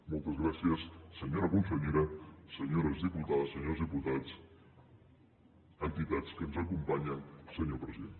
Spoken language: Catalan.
moltes gràcies senyora consellera senyores diputades senyors diputats entitats que ens acompanyen senyor president